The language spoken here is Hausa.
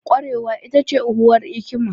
Ƙwarewa ita ce uwar hikima